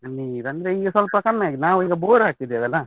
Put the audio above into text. ನೀರಂದ್ರೆ ಈಗ ಸ್ವಲ್ಪ ಕಮ್ಮಿ ಆಗಿದೆ, ನಾವೀಗ bore ಹಾಕಿದೇವಲ್ಲ.